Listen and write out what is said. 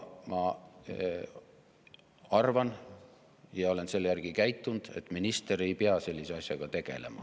Ma arvan – ja olen selle järgi käitunud –, et minister ei pea sellise asjaga tegelema.